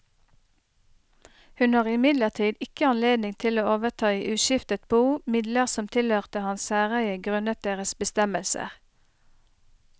Hun har imidlertid ikke anledning til å overta i uskiftet bo midler som tilhørte hans særeie grunnet deres bestemmelser.